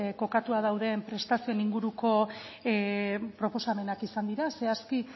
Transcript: kokatua dauden prestazioen inguruko proposamenak izan dira zehazki